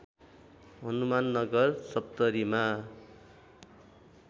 Hanumannagar सप्तरीमा